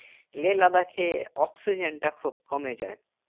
লে লাদাখে অক্সিজেন তা খুব কমে যাই